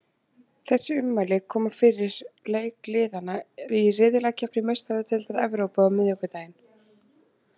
Þessi ummæli koma fyrir leik liðanna í riðlakeppni Meistaradeildar Evrópu á miðvikudaginn.